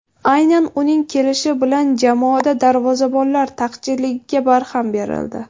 Aynan uning kelishi bilan jamoada darvozabonlar taqchilligiga barham berildi.